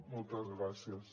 moltes gràcies